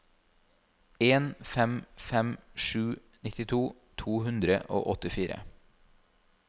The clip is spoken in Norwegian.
en fem fem sju nittito to hundre og åttifire